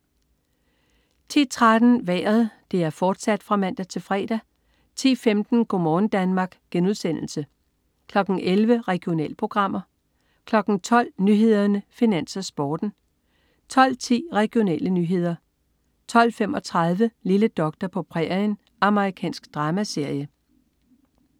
10.13 Vejret (man-fre) 10.15 Go' morgen Danmark* (man-fre) 11.00 Regionalprogrammer (man-fre) 12.00 Nyhederne, Finans, Sporten (man-fre) 12.10 Regionale nyheder (man-fre) 12.35 Lille doktor på prærien. Amerikansk dramaserie (man-fre)